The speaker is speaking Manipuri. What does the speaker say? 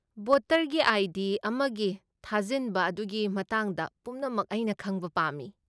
ꯚꯣꯇꯔꯒꯤ ꯑꯥꯏ. ꯗꯤ. ꯑꯃꯒꯤ ꯊꯥꯖꯤꯟꯕ ꯑꯗꯨꯒꯤ ꯃꯇꯥꯡꯗ ꯄꯨꯝꯅꯃꯛ ꯑꯩꯅ ꯈꯪꯕ ꯄꯥꯝꯃꯤ ꯫